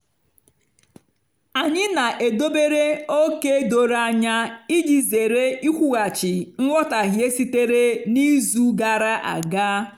anyị na-edobere ókè doro anya iji zere ikwughachi nghọtahie sitere na izu gara aga.